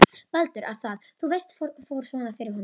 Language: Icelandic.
Baldur. að það, þú veist, fór svona fyrir honum.